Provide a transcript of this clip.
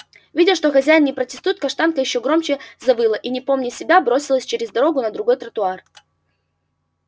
видя что хозяин не протестует каштанка ещё громче завыла и не помня себя бросилась через дорогу на другой тротуар